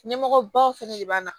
Ɲɛmɔgɔbaw fɛnɛ de b'an na